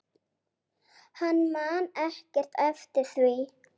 Hann man ekkert eftir því.